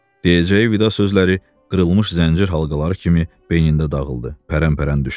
Deyəcəyi vida sözləri qırılmış zəncir halqaları kimi beynində dağıldı, pərən-pərən düşdü.